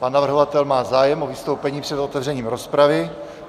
Pan navrhovatel má zájem o vystoupení před otevřením rozpravy.